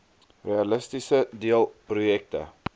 realisties deel projekte